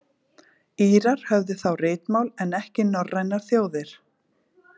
Írar höfðu þá ritmál en ekki norrænar þjóðir.